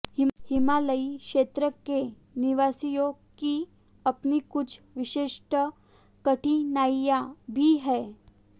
हिमालयी क्षेत्र के निवासियों की अपनी कुछ विशिष्ट कठिनाइयां भी हैं